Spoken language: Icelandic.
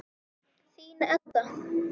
Þín, Edda.